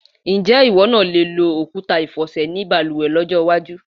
Ǹjé̩ ìwó̩ náà le lo òkúta ìfò̩sè̩ nínú balùwè̩ ló̩jó̩ iwájú?